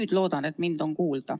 Ma loodan, et mind nüüd on kuulda.